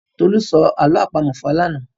Tolú sọ àlọ́ àpamọ̀ fún wa lánàá.